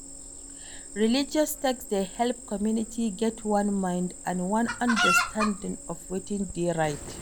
Religious text dey help community get one mind and one understanding of wetin dey right